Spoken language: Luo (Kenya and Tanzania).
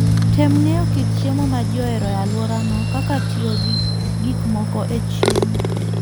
Tem ng'eyo kit chiemo ma ji ohero e alworano, kaka tiyo gi gik moko e chiemo.